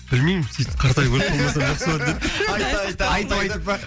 білмеймін